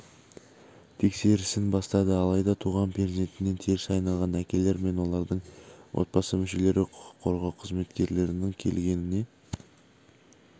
тексерісін бастады алайда туған перзентінен теріс айналған әкелер мен олардың отбасы мүшелері құқық қорғау қызметкерлерінің келгеніне